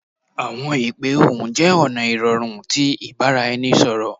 Awọn ipe ohun jẹ ọna irọrun ti ibaraẹnisọrọ